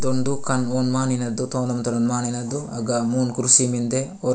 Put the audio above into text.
तोंदू खान ऑन माने न देतु ऑन तोर माने ना दू गा मून कुर्सी मिन्दे अ --